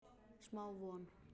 Smá von